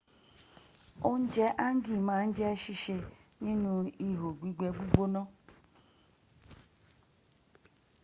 ounje hangi ma n je sise ninu iho gbigbe gbigbona